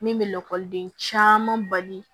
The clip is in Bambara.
Min bɛ lakɔliden caman bali